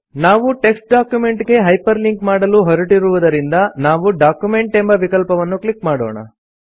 ನಾವು text document ಗೆ hyperlink ಮಾಡಲು ಹೊರಟಿರುವುದರಿಂದ ನಾವು ಡಾಕ್ಯುಮೆಂಟ್ ಎಂಬ ವಿಕಲ್ಪವನ್ನು ಕ್ಲಿಕ್ ಮಾಡೋಣ